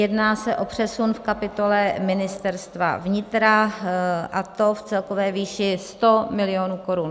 Jedná se o přesun v kapitole Ministerstva vnitra, a to v celkové výši 100 milionů korun.